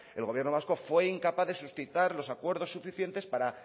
el gobierno vasco fue incapaz de suscitar los acuerdo suficientes para